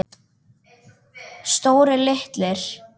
Stórir, litlir.